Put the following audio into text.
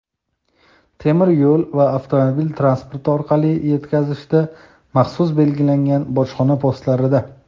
temir yo‘l va avtomobil transporti orqali yetkazishda – maxsus belgilangan bojxona postlarida;.